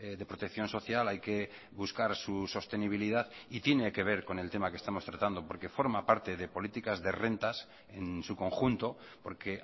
de protección social hay que buscar su sostenibilidad y tiene que ver con el tema que estamos tratando porque forma parte de políticas de rentas en su conjunto porque